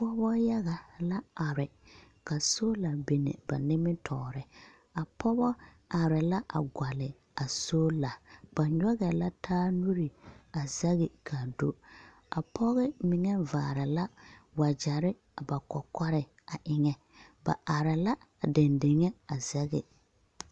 Pͻgebͻ yaga la are ka soola bini ba nimitͻͻre. A pͻgebͻ arԑԑ la a gͻlle a soola. Ba nyͻgԑԑ la taa nuuri a zԑge ka a do. A pͻge mine vaare la wagyԑre a ba kͻkͻre a eŋԑ. Ba are la a dendeŋe a zԑge.